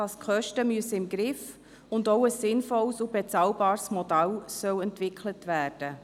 Man muss die Kosten im Griff haben, und es soll auch ein sinnvolles sowie bezahlbares Modell entwickelt werden.